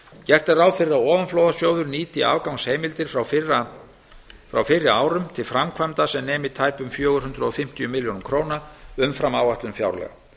gert er ráð fyrir að ofanflóðasjóður nýti afgangsheimildir frá fyrri árum til framkvæmda sem nemi tæpum fjögur hundruð fimmtíu milljónir króna umfram áætlun fjárlaga